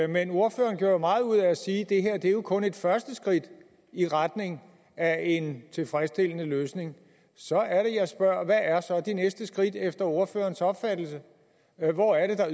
men ordføreren gjorde jo meget ud af at sige at det her kun er det første skridt i retning af en tilfredsstillende løsning så er det jeg spørger hvad er så det næste skridt efter ordførerens opfattelse hvor er det der